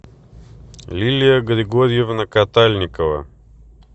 лилия григорьевна катальникова